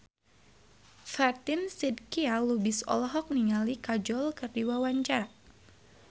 Fatin Shidqia Lubis olohok ningali Kajol keur diwawancara